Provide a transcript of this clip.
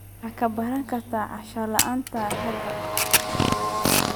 Wax ka baro kaadi-ceshan la'aanta ragga.